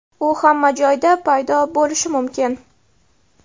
U hamma joyda paydo bo‘lishi mumkin.